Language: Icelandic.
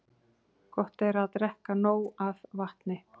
Gott er að drekka nóg af vatni.